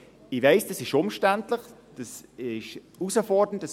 Ich weiss, das ist umständlich und herausfordernd.